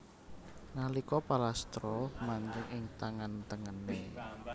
Nalika palastra manjing ing tangan tengené